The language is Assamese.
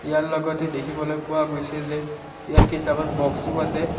ইয়াৰ লগতে দেখিবলৈ পোৱা গৈছে যে ইয়াত কেইটামান বক্সও আছে।